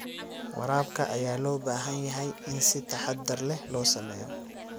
Waraabka ayaa loo baahan yahay in si taxadar leh loo sameeyo.